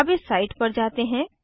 अब इस साइट पर जाते हैं